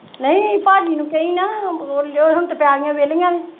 ਨਹੀਂ ਭਾਜੀ ਨੂੰ ਕਹੀ ਨਾ ਹੁਣ ਤੇ ਪੈਲੀਆਂ ਵੇਹਲੀਆਂ ਨੇ।